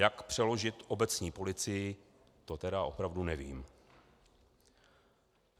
Jak přeložit obecní policii, to tedy opravdu nevím.